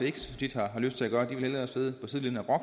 ikke så tit har lyst til at gøre de vil hellere sidde på sidelinjen og